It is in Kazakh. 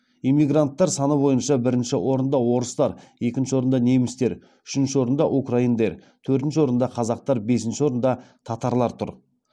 эмигранттар саны бойынша бірінші орында орыстар екінші орында немістер үшінші орында украиндер төртінші орында қазақтар бесінші орында татарлар тұр